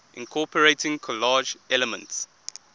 incorporating collage elements